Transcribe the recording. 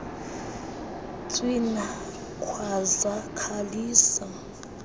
tswina khwaza khalisa